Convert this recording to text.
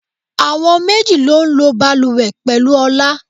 Àwọn méjì ló ń lo bàlùwẹ̀ pẹ̀lú Ọlá.